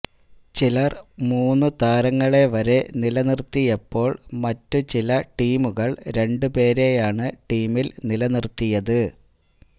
ചിലര് മൂന്നു താരങ്ങളെ വരെ നിലനിര്ത്തിയപ്പോള് മറ്റു ചില ടീമുകള് രണ്ടു പേരെയാണ് ടീമില് നിലനിര്ത്തിയത്